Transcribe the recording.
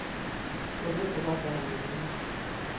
Jeg vidste godt, hvad han mente.